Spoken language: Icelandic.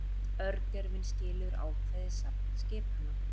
Örgjörvinn skilur ákveðið safn skipana.